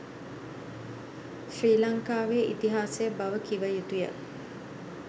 ශ්‍රී ලංකාවේ ඉතිහාසය බව කිව යුතු ය.